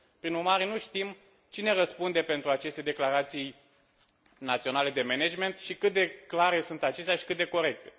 Prin urmare, nu știm cine răspunde pentru aceste declarații naționale de management și cât de clare sunt acestea și cât de corecte.